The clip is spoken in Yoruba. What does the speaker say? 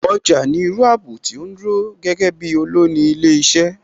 Ọjà ni irú ààbò tí ó dúró gẹ́gẹ́ bí olùni ilé iṣẹ́